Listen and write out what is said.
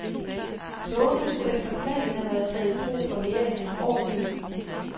Togene skulle efter planen have været taget i brug for mere end et år siden.